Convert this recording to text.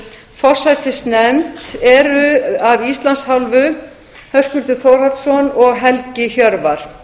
forsætisnefnd eru höskuldur þórhallsson og helgi hjörvar